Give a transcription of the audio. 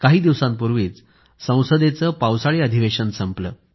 काही दिवसांपूर्वीच संसदेचं पावसाळी अधिवेशन संपलं